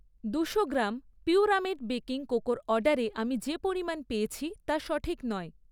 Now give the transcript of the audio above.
দুশো গ্রাম পিউরামেট বেকিং কোকোর অর্ডারে আমি যে পরিমাণ পেয়েছি, তা সঠিক নয়।